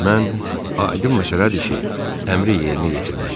Mən, aydın məsələdir ki, əmri yerinə yetirməli idim.